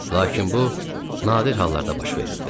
Lakin bu nadir hallarda baş verirdi.